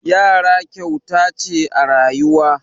Yara kyauta ce a rayuwa.